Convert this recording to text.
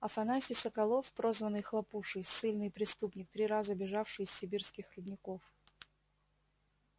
афанасий соколов прозванный хлопушей ссыльный преступник три раза бежавший из сибирских рудников